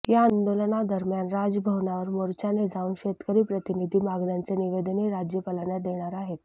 या आंदोलनादरम्यान राजभवनावर मोर्चाने जाऊन शेतकरी प्रतिनिधी मागण्यांचे निवेदनही राज्यपालांना देणार आहेत